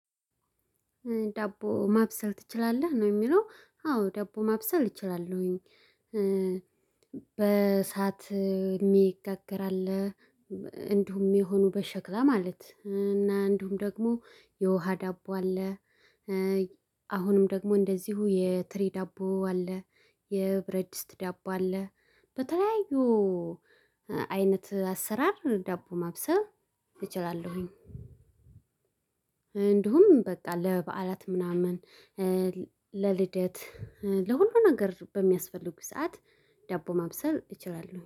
ዳቦ ማብሰል ትችላለህ ነው የሚለው አዎ ዳቦ ማብሰል እችላለሁኝ። በእሳት የሚጋገር አለ። እንዲሁም የሆኑ በሸክላ ማለት እና እንዲሁም ደግሞ የውሃ ዳቦ አለ። አሁንም ደግሞ እንደዚሁ የትሪ ዳቦ አለ። የብረትድስት ዳቦ አለ። በተለያዩ አይነት አሰራር ዳቦ ማብሰብ እችላለሁኝ። እንዲሁም በቃ ለበዓላት ምናምን ለልደት ለሁሉም ነገር በሚያስፈልጉት ሰዓት ዳቦ ማብሰል እችላልሁ